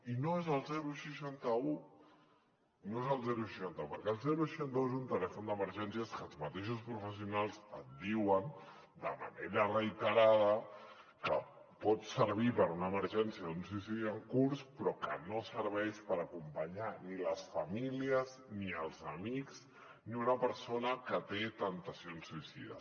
i no és el seixanta un no és el seixanta un perquè el seixanta un és un telèfon d’emergències que els mateixos professionals et diuen de manera reiterada que pot servir per a una emergència d’un suïcidi en curs però que no serveix per acompanyar ni les famílies ni els amics ni una persona que té temptacions suïcides